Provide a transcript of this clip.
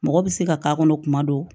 Mɔgɔ bɛ se ka k'a kɔnɔ kuma dɔ